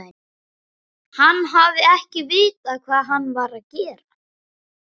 Hann hafi ekki vitað hvað hann var að gera.